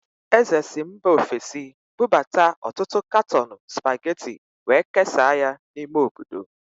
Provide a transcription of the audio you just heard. Eze si mba ofesi bụbata ọtụtụ katọọnụ Spageti wee kesaa ya n'ime obodo.